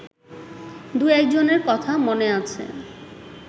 দু-একজনের কথা মনে আছে